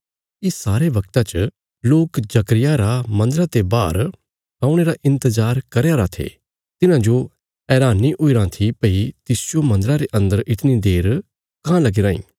इस सारे बगता च लोक जकर्याह रा मन्दरा ते बाहर औणे रा इन्तजार करया राँ थे तिन्हांजो हैरानी हुईराँ थी भई तिसजो मन्दरा रे अन्दर इतणी देर काँह लगी राईं